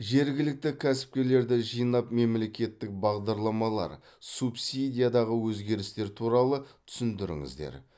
жергілікті кәсіпкерлерді жинап мемлекеттік бағдарламалар субсидиядағы өзгерістер туралы түсіндіріңіздер